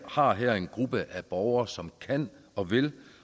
har her en gruppe af borgere som kan og vil